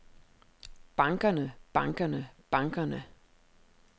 bankerne bankerne bankerne